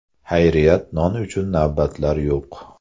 Xayriyat, non uchun navbatlar yo‘q.